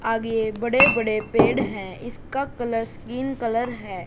आगे बड़े बड़े पेड़ हैं इसका कलर स्किन कलर है।